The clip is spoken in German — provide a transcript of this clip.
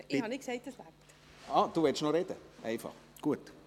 Ich habe nicht gesagt, dass es noch reicht.